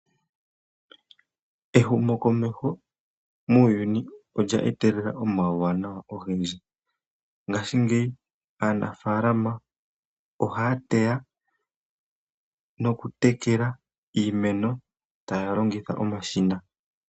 Ehumokomeho muuyuni olya etelela omauwanawa ogendji. Ngashingeyi aanafaalama ohaya teya nokutekela iimeno taya longitha omashina.